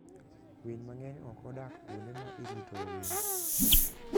Winy mang'eny ok odak kuonde ma iritoe winy.